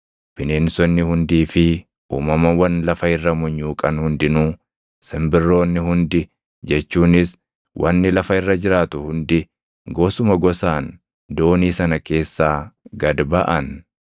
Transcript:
Bineensonni hundii fi uumamawwan lafa irra munyuuqan hundinuu, simbirroonni hundi jechuunis wanni lafa irra jiraatu hundi gosuma gosaan doonii sana keessaa gad baʼan.